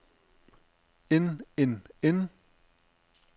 end end end